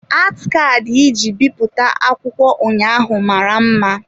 Ati Kaadị iji bipụta akwụkwọ ụnyaahụ mara mma.